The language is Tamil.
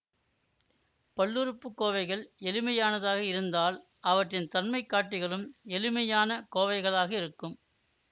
பல்லுறுப்புக்கோவைகள் எளிமையானதாக இருந்தால் அவற்றின் தன்மைகாட்டிகளும் எளிமையான கோவைகளாக இருக்கும்